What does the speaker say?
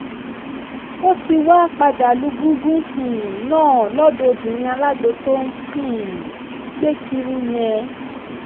ó ti wáá padà lu gúngún um náà lọ́dọ̀ obìnrin alágbó tó ń um gbé kiri yẹn